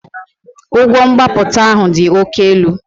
Ụgwọ mgbapụta ahụ dị oke elu